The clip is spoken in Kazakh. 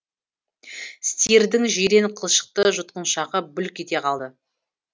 стирдің жирен қылшықты жұтқыншағы бүлк ете қалды